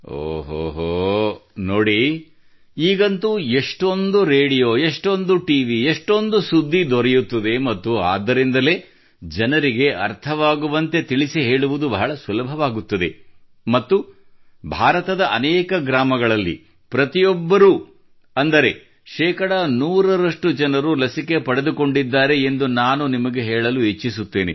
ಓಹೋಹೋ ನೋಡಿ ಈಗಂತೂ ಎಷ್ಟೊಂದು ರೇಡಿಯೋ ಎಷ್ಟೊಂದು ಟಿವಿ ಎಷ್ಟೊಂದು ಸುದ್ದಿ ದೊರೆಯುತ್ತದೆ ಮತ್ತು ಆದ್ದರಿಂದಲೇ ಜನರಿಗೆ ಅರ್ಥವಾಗುವಂತೆ ತಿಳಿಸಿಹೇಳುವುದು ಬಹಳ ಸುಲಭವಾಗುತ್ತದೆ ಮತ್ತು ಭಾರತದ ಅನೇಕ ಗ್ರಾಮಗಳಲ್ಲಿ ಪ್ರತಿಯೊಬ್ಬರೂ ಅಂದರೆ ಶೇಕಡಾ ನೂರರಷ್ಟು ಜನರು ಲಸಿಕೆ ಪಡೆದುಕೊಂಡಿದ್ದಾರೆ ಎಂದು ನಾನು ನಿಮಗೆ ಹೇಳಲು ಇಚ್ಛಿಸುತ್ತೇನೆ